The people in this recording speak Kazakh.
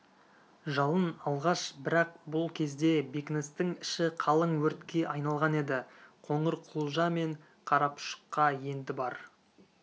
жалын алғаш бірақ бұл кезде бекіністің іші қалың өртке айналған еді қоңырқұлжа мен қарапұшыққа енді бар